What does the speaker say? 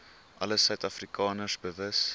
alle suidafrikaners bewus